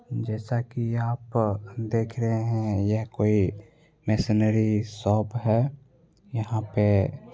जैसा की आप देख रहे हैं यह कोई मशीनरी शॉप है। यहां पे --